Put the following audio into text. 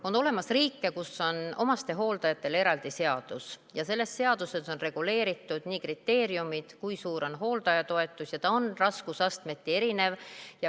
On olemas riike, kus on omastehooldajatel eraldi seadus ja selles seaduses on reguleeritud kriteeriumid, kui suur on hooldajatoetus, ja see on raskusastmeti erinev.